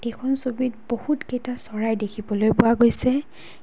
এইখন ছবিত বহুতকেইটা চৰাই দেখিবলৈ পোৱা গৈছে।